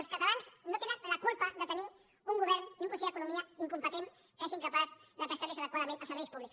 els catalans no tenen la culpa de tenir un govern i un conseller d’economia incompetents que són incapaços de prestar los adequadament els serveis públics